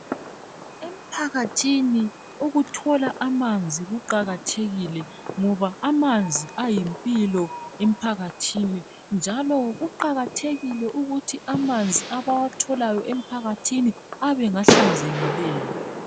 Emphakathini ukuthola amanzi kuqakathekile ngoba amanzi ayimpilo emphakathini njalo kuqakathekile ukuthi amanzi abawatholayo emphakathini abe ngahlanzekileyo